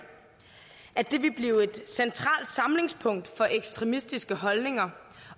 at det ville blive et centralt samlingspunkt for ekstremistiske holdninger